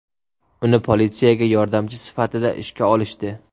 Uni politsiyaga yordamchi sifatida ishga olishdi.